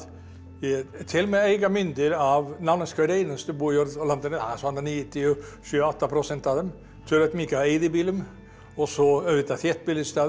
ég tel mig eiga myndir af nánast hverri einustu bújörð á landinu svona níutíu og sjö og átta prósent af þeim töluvert mikið af eyðibýlum og svo auðvitað þéttbýlisstaðir